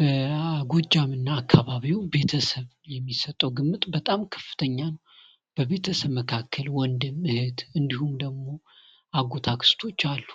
በጎጃምና አካባቢው ቤተሰብ የሚሰጠው ግምት በጣም ከፍተኛ ነው። በቤተሰብ መካከል ወንድም፣ እህት እንዲሁም ደግሞ አጎት፣ አክስቶች አሉ።